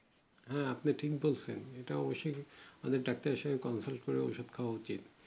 হ্যাঁ আপনি ঠিক বলছেন এটা অবশ্যই ভালো ডাক্তারের এর সাথে consult করে ওষুধ খোওয়া উচিত